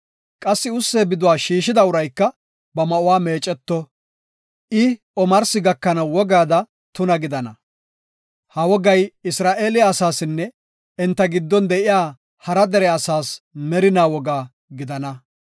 Qassi ussee biduwa shiishida urayka ba ma7uwa meecco; I omarsi gakanaw wogaada tuna gidana. Ha wogay Isra7eele asaasinne enta giddon de7iya hara dere asaas merinaa woga gidana.